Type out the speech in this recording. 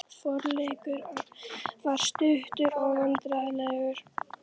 Forleikur athafnarinnar var stuttur og vandræðalegur.